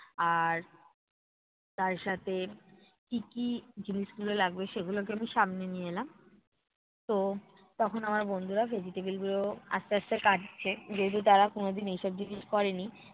আর তার সাথে কী কী জিনিসগুলো লাগবে সেগুলোকে আমি সামনে নিয়ে এলাম। তো তখন আমার বন্ধুরা vegetable গুলো আস্তে আস্তে কাটছে, যেহেতু তারা কোনোদিন এইসব জিনিস করে নি।